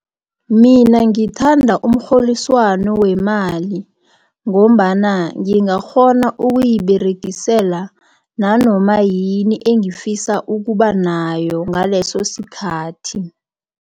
Mina ngithanda umrholiswano wemali ngombana ngingakghona ukuyiberegisela nanoma yini engifisa ukuba nayo ngaleso sikhathi.